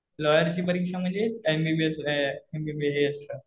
लॉयरची परीक्षा म्हणजे M B B S. M B B S